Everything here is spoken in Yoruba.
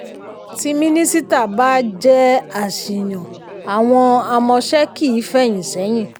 tí minisita bá jẹ́ àṣìyàn àwọn amọ̀ṣẹ̀ kì í fẹ́yìn sẹ́yìn.